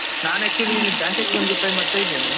ನಾನ್ actually bank exam ದ್ದು try ಮಾಡ್ತಾ ಇದ್ದೇನೆ.